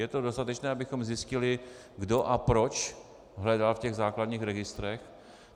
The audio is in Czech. Je to dostatečné, abychom zjistili, kdo a proč hledal v těch základních registrech?